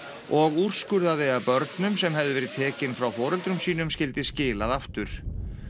og úrskurðaði að börnum sem hefðu verið tekið frá foreldrum sínum skyldi skilað aftur